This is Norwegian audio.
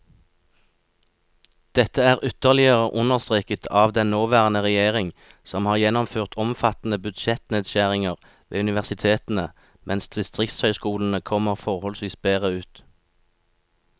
Dette er ytterligere understreket av den nåværende regjering, som har gjennomført omfattende budsjettnedskjæringer ved universitetene mens distriktshøyskolene kommer forholdsvis bedre ut.